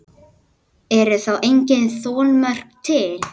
Eru þá engin þolmörk til?